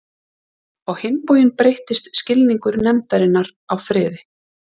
Á hinn bóginn breyttist skilningur nefndarinnar á friði.